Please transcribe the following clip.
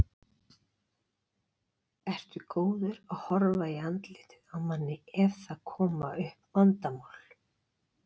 Ertu góður að horfa í andlitið á manni ef það koma upp vandamál?